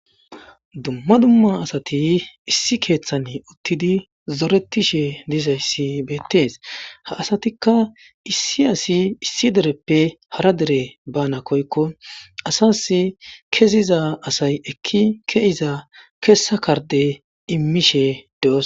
dumma dumma asati issi keeththan uttidi zoretishe dizayssi beettees ha asatikka issi asi issi dereppe hara dere bana koykko asas keziza asay ekki keiza keessa karde immishe de7os